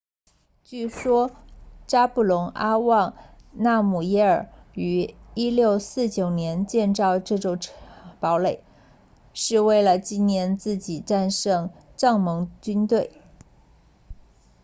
据说扎布隆阿旺纳姆耶尔 zhabdrung nawang namgyel 于1649年建造这座堡垒是为了纪念自己战胜藏蒙军队